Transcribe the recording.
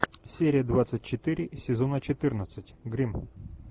серия двадцать четыре сезона четырнадцать гримм